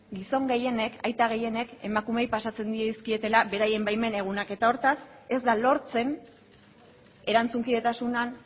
gizon gehienek aita gehienek emakumeei pasatzen dizkietela beraien baimen egunak eta hortaz ez da lortzen erantzunkidetasunean